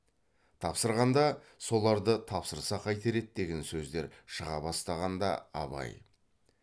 тапсырғанда соларды тапсырса қайтер еді деген сөздер шыға бастағанда абай